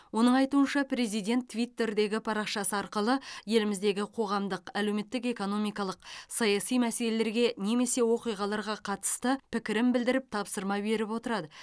оның айтуынша президент твиттердегі парақшасы арқылы еліміздегі қоғамдық әлеуметтік экономикалық саяси мәселелерге немесе оқиғаларға қатысты пікірін білдіріп тапсырма беріп отырады